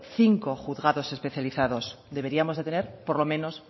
cinco juzgado especializados deberíamos de tener por lo menos